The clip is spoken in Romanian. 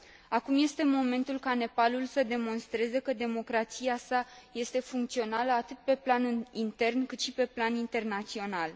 Acum este momentul ca Nepalul să demonstreze că democrația sa este funcțională atât pe plan intern, cât și pe plan internațional